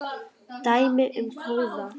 Dæmi um kóða